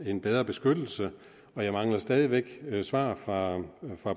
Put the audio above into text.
en bedre beskyttelse og jeg mangler stadig væk svar fra